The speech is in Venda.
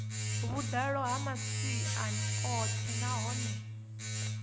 vhuḓalo ya masia oṱhe nahone